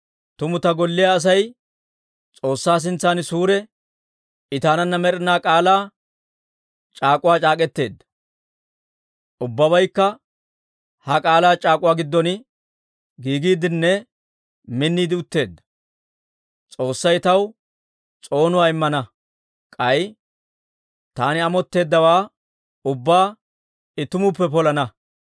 «Tumu ta golliyaa Asay S'oossaa sintsan suure. I taananna med'ina k'aalaa c'aak'uwaa c'aak'k'eteedda; ubbabaykka ha k'aalaa c'aak'uwaa giddon giigiidenne minniide utteedda. S'oossay taw s'oonuwaa immana; k'ay taani amotteeddawaa ubbaa I tumuppe polana.